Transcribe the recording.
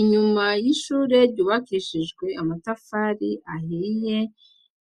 Inyuma y'ishure ryubakishijwe amatafari ahiye